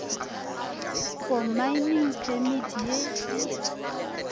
for mining permit ye e